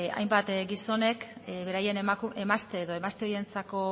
hainbat gizonek beraien emazte edo emazte ohientzako